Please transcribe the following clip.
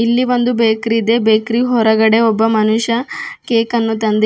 ಇಲ್ಲಿ ಒಂದು ಬೇಕ್ರಿ ಇದೆ ಬೇಕ್ರಿ ಹೊರಗಡೆ ಒಬ್ಬ ಮನುಷ್ಯ ಕೇಕನ್ನು ತಂದಿ--